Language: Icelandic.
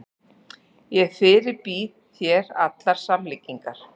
Ég fyrirbýð þér allar samlíkingar.